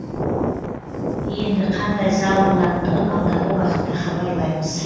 енді қандай зал болатындығын алдағы уақытта хабарлаймыз